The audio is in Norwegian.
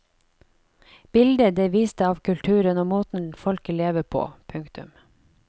Bildet det viste av kulturen og måten folket lever på. punktum